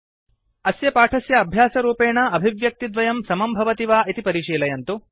अस्य पाठस्य अभ्यासरूपेण अभिव्यक्तिद्वयं समं भवति वा160 इति परिशीलयन्तु